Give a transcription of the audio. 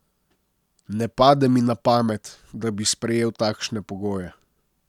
Ne pade mi na pamet, da bi sprejel takšne pogoje.